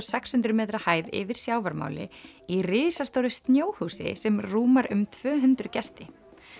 sex hundruð metra hæð yfir sjávarmáli í risastóru snjóhúsi sem rúmar um tvö hundruð gesti